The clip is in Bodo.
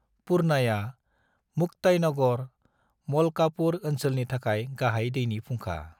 पूर्णाया मुक्ताईनगर, मलकापुर ओनसोलनि थाखाय गाहाय दैनि फुंखा।